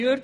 Jürg